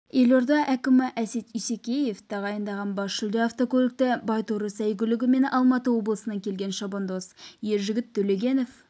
елорда әкімі әсет исекешев тағайындаған бас жүлде автокөлікті байторы сәйгүлігімен алматы облысынан келген шабандоз ержігіт төлегенов